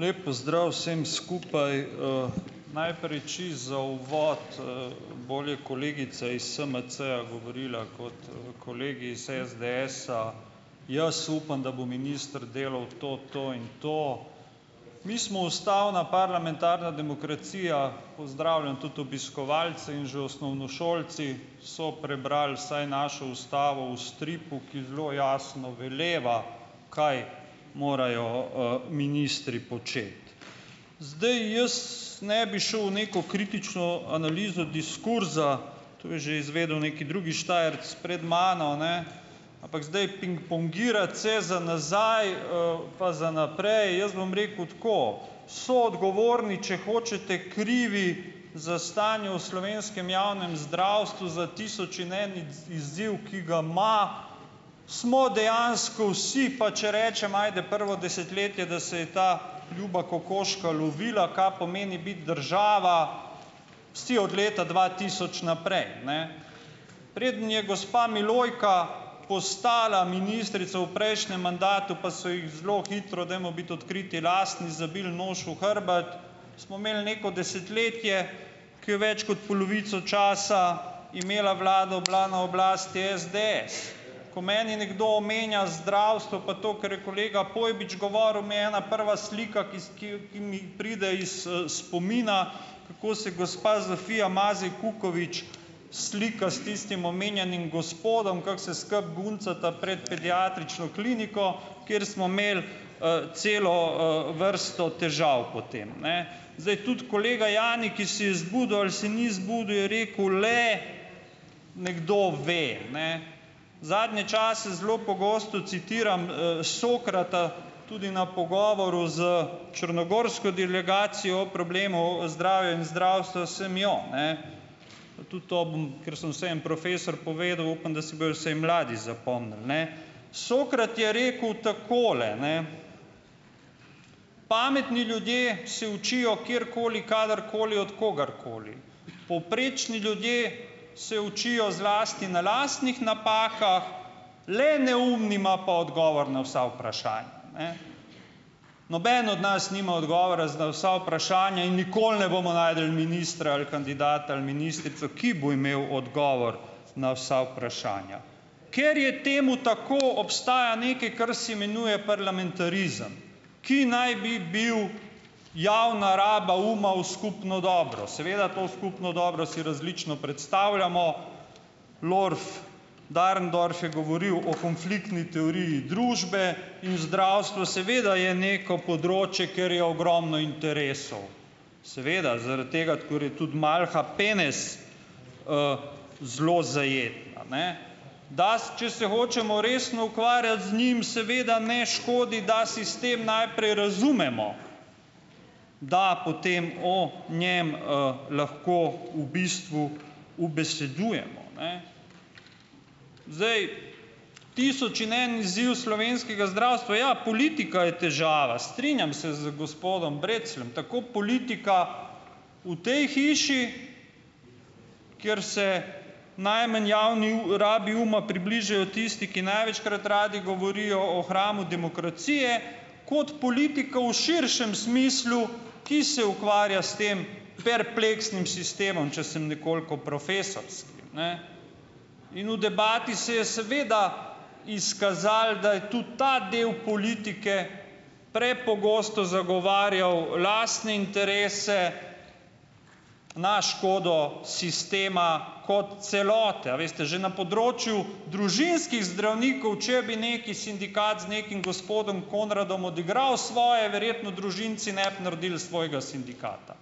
Lep pozdrav vsem skupaj Najprej čisto za uvod bolje kolegica iz SMC-ja govorila kot kolegi iz SDS-a, jaz upam, da bo minister delal to to in to. Mi smo ustavna parlamentarna demokracija, pozdravljam tudi obiskovalce in že osnovnošolci so prebrali vsaj našo ustavo v stripu, ki zelo jasno veleva, kaj morajo ministri početi. Zdaj, jaz ne bi šel v neko kritično analizo diskurza, to je že izvedel neki drugi Štajerec pred mano, ne, ampak zdaj pingpongirati vse za nazaj, pa za naprej, jaz bom rekel tako, soodgovorni, če hočete krivi za stanje v slovenskem javnem zdravstvu za tisoč in en izziv, ki ga ima, smo dejansko vsi, pač če rečem, ajde, prvo desetletje, da se je ta ljuba kokoška lovila, kaj pomeni biti država, vsi od leta dva tisoč naprej, ne. Preden je gospa Milojka postala ministrica v prejšnjem mandatu, pa so jih zelo hitro, dajmo biti odkriti, lastni zabili nož v hrbet, smo imeli neko desetletje, ki je več kot polovico časa imela vlado, bila na oblasti SDS. Ko meni nekdo omenja zdravstvo, pa to, kar je kolega Pojbič govoril, mi je ena prva slika, ki ki ki mi pride iz spomina, kako se gospa Zofija Mazej Kukovič slika s tistim omenjenim gospodom, kako se skupaj guncata pred pediatrično kliniko, kjer smo imeli celo vrsto težav potem, ne. Zdaj tudi kolega Jani, ki se je zbudil ali se ni zbudil, je rekel le, nekdo ve, ne. Zadnje čase zelo pogosto citiram Sokrata, tudi na pogovoru s črnogorsko delegacijo o problemu o zdravju in zdravstvu, sem jo, ne, tudi to bom, ker sem vseeno profesor, povedal, upam, da si bojo vsaj mladi zapomnili, ne. Sokrat je rekel takole ne: "Pametni ljudje se učijo kjerkoli, kadarkoli, od kogarkoli. Povprečni ljudje se učijo zlasti na lastnih napakah, le neumni ima pa odgovor na vsa vprašanja, ne." Noben od nas nima odgovora na vsa vprašanja in nikoli ne bomo našli ministra ali kandidata ali ministrico, ki bo imel odgovor na vsa vprašanja. Ker je temu tako, obstaja nekaj, kar se imenuje parlamentarizem, ki naj bi bil javna raba uma v skupno dobro. Seveda to, v skupno dobro, si različno predstavljamo. Dahrendorf je govoril o konfliktni teoriji družbe in zdravstvo seveda je neko področje, kjer je ogromno interesov. Seveda, zaradi tega, ker je tudi malha penez zelo zajetna, ne. če se hočemo resno ukvarjati z njim, seveda ne škodi, da sistem najprej razumemo, da potem o njem lahko, v bistvu, ubesedujemo, ne. Zdaj, tisoč in en izziv slovenskega zdravstva, ja, politika je težava, strinjam se z gospodom Brecljem. Tako politika v tej hiši, kjer se najmanj javni rabi uma približajo tisti, ki največkrat radi govorijo o hramu demokracije, kot politikov v širšem smislu, ki se ukvarja s tem perpleksnim sistemom, če sem nekoliko profesorski, ne, in v debati se je seveda izkazalo, da je tudi ta del politike prepogosto zagovarjal lastne interese, na škodo sistema kot celote. A veste, že na področju družinskih zdravnikov, če bi neki sindikat, z nekim gospodom Konradom odigral svoje, verjetno družinci ne bi naredili svojega sindikata.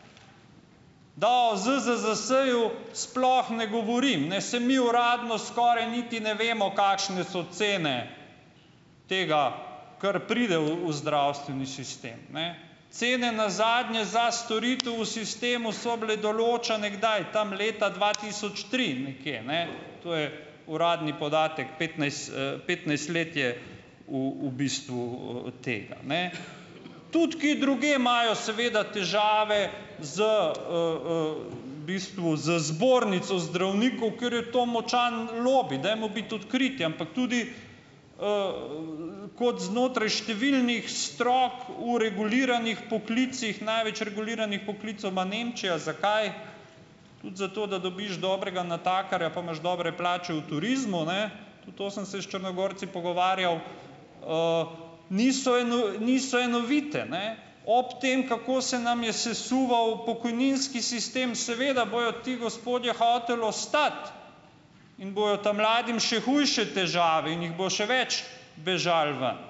Da o ZZZS-ju sploh ne govorim, ne. Saj mi uradno skoraj niti ne vemo, kakšne so cene tega, kar pride v zdravstveni sistem, ne. Cene nazadnje za storitev v sistemu so bile določane kdaj? Tam, leta dva tisoč tri nekje, ne, To je uradni podatek, petnajst petnajst let je, u v bistvu, od tega, ne. Tudi kje drugje imajo seveda težave, z v bistvu, z zbornico zdravnikov, ker je to močan lobi, dajmo biti odkriti, ampak tudi, kot znotraj številnih strok, o reguliranih poklicih - največ reguliranih poklicev ima Nemčija. Zakaj? Tudi zato, da dobiš dobrega natakarja, pa imaš dobre plače v turizmu, ne. Tudi to sem se s Črnogorci pogovarjal. Niso niso enovite, ne. Ob tem, kako se nam je sesuval pokojninski sistem. Seveda bodo ti gospodje hoteli ostati in bojo ta mladim še hujše težave in jih bo še več bežalo ven.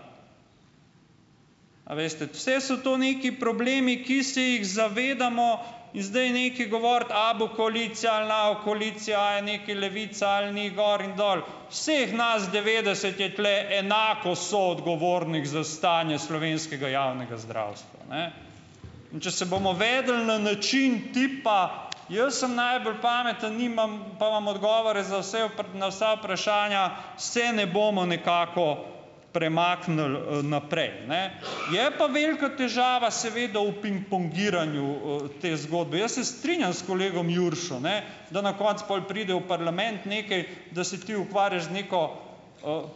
A veste, vse so to nekaj problemi, ki se jih zavedamo in zdaj nekaj govoriti, a bo koalicija ali ne bo koalicija, a je nekaj levica ali ni, gor in dol, vseh nas devetdeset je tule enako soodgovornih za stanje slovenskega javnega zdravstva, ne, in če se bomo vedli na način tipa, jaz sem najbolj pameten, nimam, pa imam odgovore za vse na vsa vprašanja, se ne bomo nekako premaknili naprej, ne. Je pa velika težava, seveda, v pingpongiranju te zgodbe. Jaz se strinjam s kolegom Juršo, ne, da na koncu pol pride v parlament nekaj, da se ti ukvarjaš z neko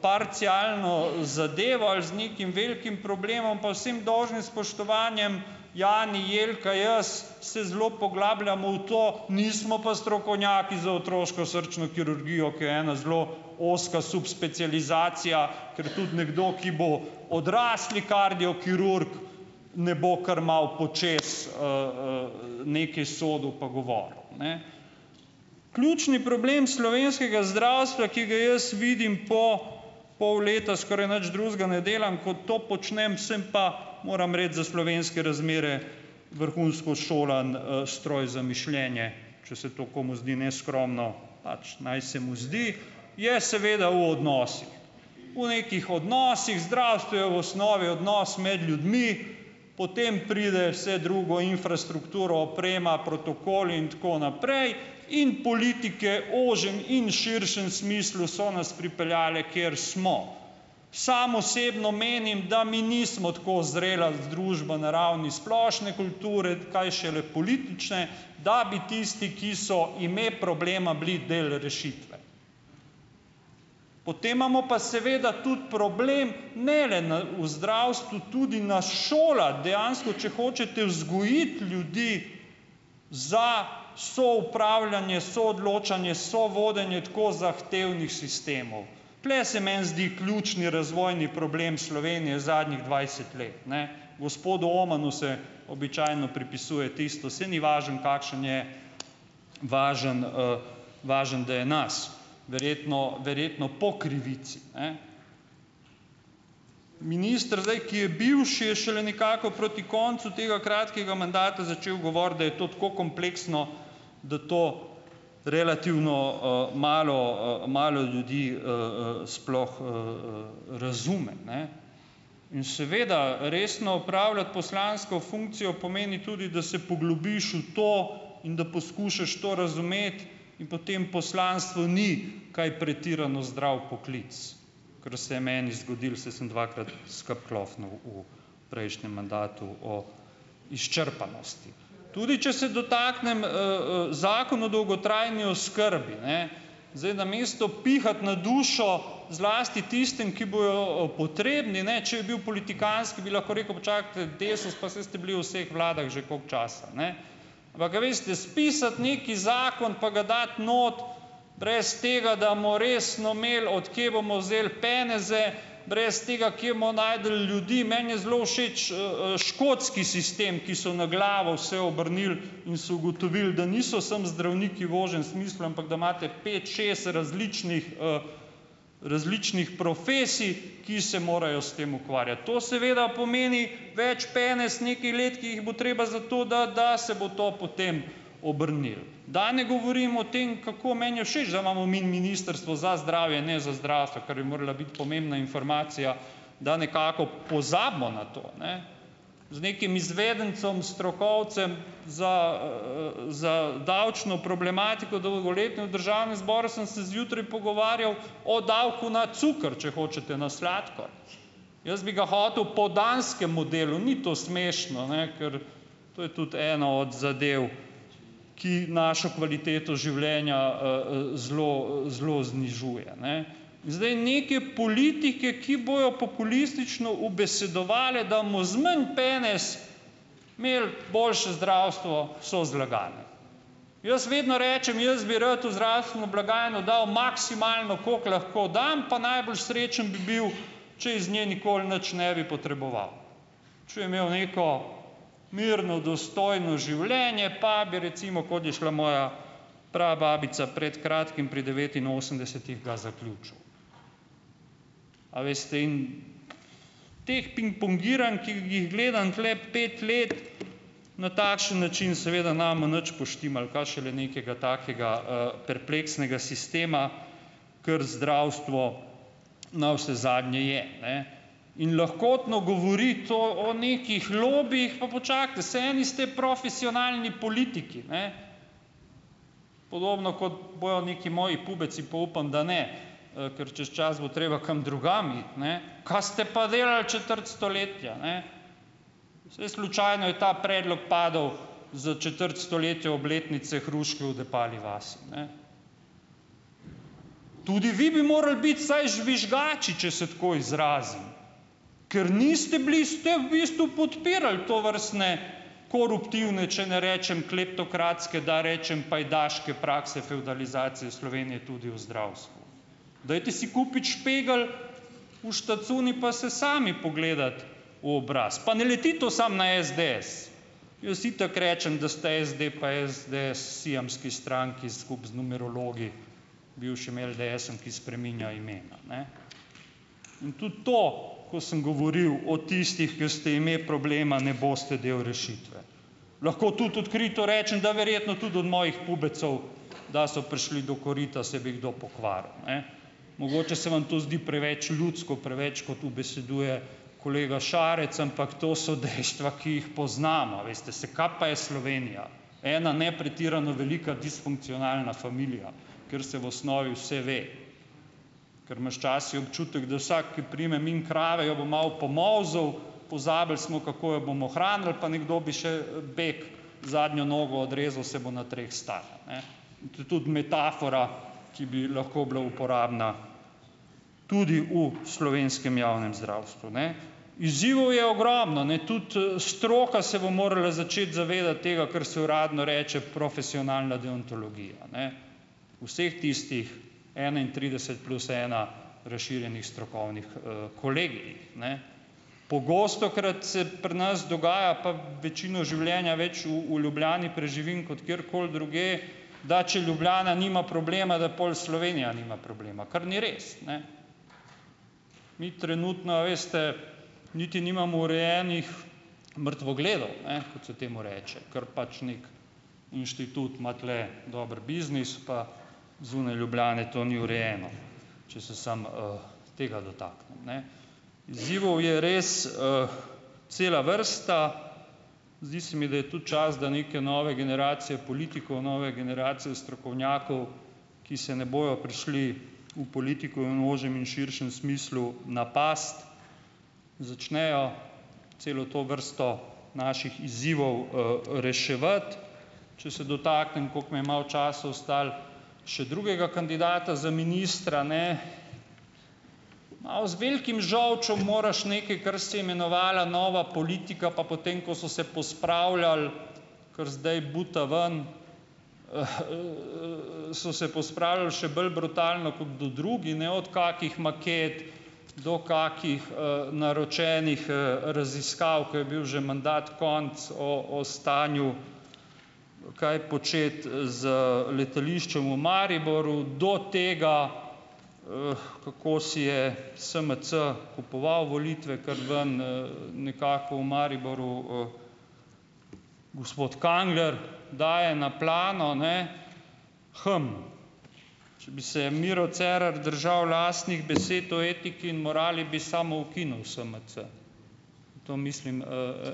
parcialno zadevo ali z nekim velikim problemom, pa vsem dolžnim spoštovanjem, Jani, Jelka, jaz se zelo poglabljamo v to, nismo pa strokovnjaki za otroško srčno kirurgijo, ki je ena zelo ozka subspecializacija, ker tudi nekdo, ki bo odrasli kardiokirurg, ne bo kar malo počez nekaj sodil pa govoril. Ključni problem slovenskega zdravstva, ki ga jaz vidim po pol leta, skoraj nič drugega ne delam, kot to počnem, sem pa, moramo reči, za slovenske razmere, vrhunsko šolan stroj za mišljenje, če se to komu zdi neskromno, pač naj se mu zdi, je seveda v odnosih, v nekih odnosih, zdravstvo je v osnovi odnos med ljudmi, potem pride vse drugo, infrastruktura, oprema, protokol in tako naprej, in politike ožjem in širšem smislu so nas pripeljale, kjer smo. Sam osebno menim, da mi nismo tako zrela združba na ravni splošne kulture, kaj šele politične, da bi tisti, ki so ime problema, bili del rešitve. Potem imamo pa seveda tudi problem ne le na v zdravstvu, tudi na šolah, dejansko, če hočete vzgojiti ljudi za soupravljanje, soodločanje, sovodenje tako zahtevnih sistemov, tule se meni zdi ključni razvojni problem Slovenije zadnjih dvajset let, ne. Gospodu Omanu se običajno pripisuje tisto, saj ni važno, kakšen je, važno važno, da je naš, verjetno, verjetno po krivici, ne. Minister zdaj, ki je bivši, je šele nekako proti koncu tega kratkega mandata začel govoriti, da je to tako kompleksno, da to relativno malo malo ljudi sploh razume, ne, in seveda resno opravljati poslansko funkcijo pomeni tudi, da se poglobiš v to in da poskušaš to razumeti, in potem poslanstvo ni kaj pretirano zdrav poklic, kar se je meni zgodilo, saj sem dvakrat skupaj klofnil v prejšnjem mandatu o izčrpanosti. Tudi če se dotaknem Zakona o dolgotrajni oskrbi, ne. Zdaj, namesto pihati na dušo zlasti tistim, ki bojo potrebni ne, če je bil politikantski, bi lahko rekel: "Počakajte Desus, pa saj ste bili v vseh vladah že koliko časa." Ampak, a veste spisati neki zakon pa ga dati not brez tega, da resno imeli od kje bomo vzeli peneze, brez tega kje bomo našli ljudi, meni je zelo všeč škotski sistem, ki so na glavo vse obrnili in so ugotovili, da niso samo zdravniki v ožjem smislu, ampak da imate pet, šest različnih različnih profesij, ki se morajo s tem ukvarjati, to seveda pomeni več penez nekaj let, ki jih bo treba za to dati, da se bo to potem obrnilo. Da ne govorim o tem, kako meni je všeč, da imamo mi Ministrstvo za zdravje, ne za zdravstvo, kar bi morala biti pomembna informacija, da nekako pozabimo na to, ne. Z nekim izvedencem stokovcem za za davčno problematiko dolgoletno v Državnem zboru sem se zjutraj pogovarjal o davku na cuker, če hočete, na sladkor. Jaz bi ga hotel po danskem modelu, ni to smešno, ne, kar to je tudi ena od zadev, ki našo kvaliteto življenja zelo zelo znižuje, ne. Zdaj neke politike, ki bojo populistično ubesedovale, da bomo z manj penez imeli boljše zdravstvo, so zlagane. Jaz vedno rečem, jaz bi rad v zdravstveno blagajno da bo maksimalno, kako lahko dam, pa najbolj srečen bi bil, če iz nje nikoli nič ne bi potreboval, če bi imel neko mirno, dostojno življenje pa bi recimo, kot je šla moja prababica pred kratkim, pri devetinosemdesetih ga zaključil. A veste, in teh pingpongiranj, ki jih gledam tule pet let, na takšen način, seveda ne bomo nič poštimali, kaj šele nekega takega perpleksnega sistema, kar zdravstvo navsezadnje je, ne. In lahkotno govoriti o o nekih lobijih, pa počakajte, saj eni ste profesionalni politiki, ne. Podobno kot bojo neki moji pubeci, pa upam, da ne, ker čez čas bo treba kam drugam iti, ne. Kaj ste pa delali četrt stoletja, ne? Saj slučajno je ta predlog padel za četrt stoletja obletnice hruške v Depali vasi, ne. Tudi vi bi morali biti vsaj žvižgači, če se tako izrazim, ker niste bili, ste v bistvu podpirali tovrstne koruptivne, če ne rečem kleptokratske, da rečem pajdaške prakse fevdalizacije Slovenije tudi v zdravstvu. Dajte si kupiti špegle v štacuni pa se sami pogledati v obraz, pa ne leti to samo na SDS, jaz itak rečem, da sta SD pa SDS siamski stranki, skupaj z numerologi, bivšim LDS-om, ki spreminja imena, ne. In tudi to, ko sem govoril o tistih, ki ste ime problema, ne boste del rešitve. Lahko tudi odkrito rečem, da verjetno tudi od mojih pubecov, da so prišli do korita, se bi kdo pokvaril, ne. Mogoče se vam to zdi preveč ljudsko preveč, kot ubeseduje kolega Šarec, ampak to so dejstva, ki jih poznam. A veste, saj kaj pa je Slovenija? Ena ne pretirano velika disfunkcionalna familija, ker se v osnovi vse ve, ker imaš včasih občutek, da vsak, ki prime mimo krave, jo bo malo pomolzel, pozabili smo, kako jo bomo hranili, pa nekdo bi še bek zadnjo nogo odrezal, saj bo na treh stala, ne. To tudi metafora, ki bi lahko bila uporabna tudi v slovenskem javnem zdravstvu, ne. Izzivov je ogromno, ne. Tudi stroka se bo morala začeti zavedati tega, kar se uradno reče profesionalna deontologija, ne, vseh tistih enaintrideset plus ena razširjenih strokovnih kolegijih, ne. Pogostokrat se pri nas dogaja, pa večino življenja več v Ljubljani preživim kot kjerkoli drugje, da če Ljubljana nima problema, da pol Slovenija nima problema, kar ni res, ne. Mi trenutno, a veste, niti nimamo urejenih mrtvogledov, ne, kot se temu reče, ker pač neki inštitut ima tule dober biznis pa zunaj Ljubljane to ni urejeno, če se samo tega dotaknem, ne. Izzivov je res cela vrsta. Zdi se mi, da je ta čas, da neke nove generacije politikov, nove generacije strokovnjakov, ki se ne bojo prišli v politiko in v ožjem in širšem smislu napast, začnejo celo to vrsto naših izzivov reševati. Če se dotaknem, kako mi je malo časa ostalo, še drugega kandidata za ministra, ne. Malo z velikim žolčem moraš nekaj, kar se je imenovala nova politika, pa potem ko so se pospravljali, ker zdaj bosta ven so se pospravili še bolj brutalno kot kdo drugi, ne, od kakih maket do kakih naročenih raziskav, ko je bil že mandat konec o o stanju, kaj početi z letališčem v Mariboru do tega, kako si je Smc kupoval volitve, kar ven nekako v Mariboru gospod Kangler daje na plano, ne. če bi se Miro Cerar držal lastnih besed o etiki in morali, bi samoukinil SMC. To mislim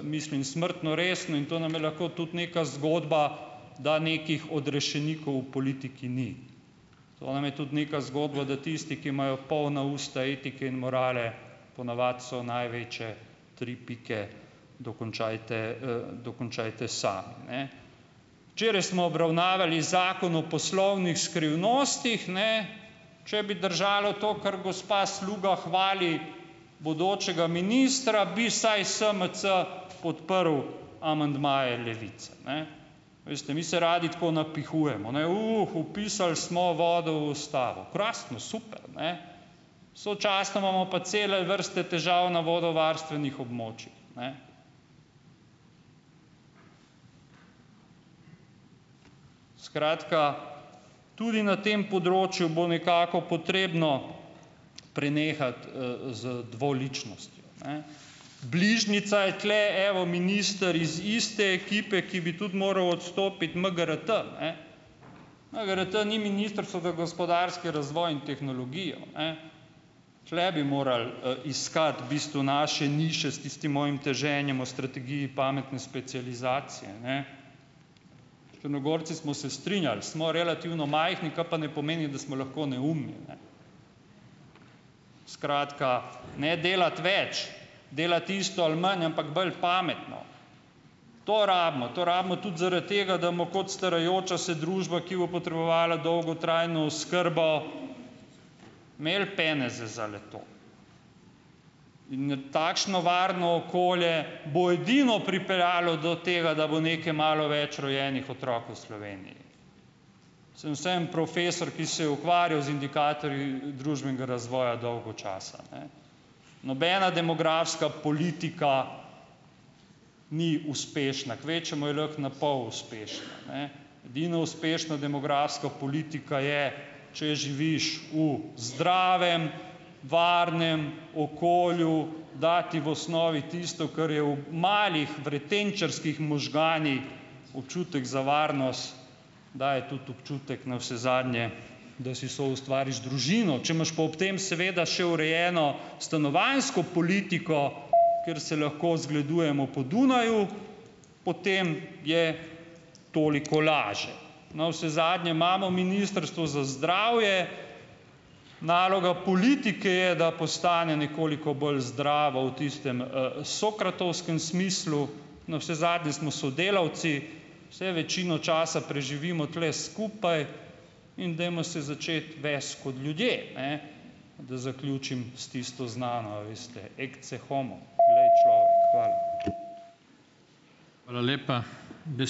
mislim smrtno resno in to nam je lahko tudi neka zgodba, da nekih odrešenikov v politiki ni. To nam je tudi neka zgodba, da tisti, ki imajo polna usta etike in morale, ponavadi so največje tri pike, dokončajte dokončajte sami, ne. Včeraj smo obravnavali Zakon o poslovnih skrivnostih, ne. Če bi držalo to, kar gospa Sluga hvali bodočega ministra, bi vsaj SMC podprl amandmaje Levice, ne. Veste, mi se radi tako napihujemo, vpisali smo vodo v Ustavo. Krasno, super, ne, sočasno imamo pa cele vrste težav na vodovarstvenih območjih, ne. Skratka, tudi na tem področju bo nekako potrebno prenehati z dvoličnostjo, ne. Bližnjica je tule evo minister iz iste ekipe, ki bi tudi moral odstopiti, MGRT. MGRT ni Ministrstvo za gospodarski razvoj in tehnologijo, ne, tule bi moral iskati v bistvu naše niše s tistim mojim teženjem o strategiji pametne specializacije, ne. Črnogorci smo se strinjali, smo relativno majhni, kar pa ne pomeni, da smo lahko neumni, ne. Skratka, ne delati več, delati isto ali manj, ampak bolj pametno. To rabimo. To rabimo tudi, zaradi tega, da kot starajoča se družba, ki bo potrebovala dolgotrajno oskrbo, imeli peneze za le-to. In takšno varno okolje bo edino pripeljalo do tega, da bo nekaj malo več rojenih otrok v Sloveniji. Sem vseeno profesor, ki se je ukvarjal z indikatorji družbenega razvoja dolgo časa, ne. Nobena demografska politika ni uspešna, kvečjemu je lahko na pol uspešna, ne. Edina uspešna demografska politika je, če živiš v zdravem varnem okolju, da ti v osnovi tisto, kar je v malih vretenčarskih možganih občutek za varnost, daje tudi občutek, navsezadnje, da si soustvariš družino. Če imaš pa ob tem seveda še urejeno stanovanjsko politiko, kjer se lahko zgledujemo po Dunaju, potem je toliko laže. Navsezadnje imamo Ministrstvo za zdravje, naloga politike je, da postane nekoliko bolj zdrava v tistem sokratovskem smislu. Navsezadnje smo sodelavci, saj večino časa preživimo tule skupaj, in dajmo se začeti vesti kot ljudje, ne, da zaključim s tisto znano, a veste, ecce homo, glej, človek. Hvala.